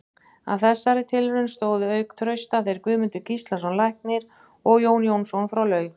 Að þessari tilraun stóðu auk Trausta þeir Guðmundur Gíslason læknir og Jón Jónsson frá Laug.